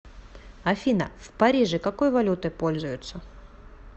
афина в париже какой валютой пользуются